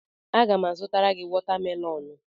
Aga m azụtara gị watamelonụ.